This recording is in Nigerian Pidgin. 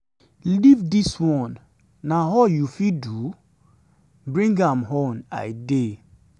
life dis one na all na all you fit do? bring am on i dey.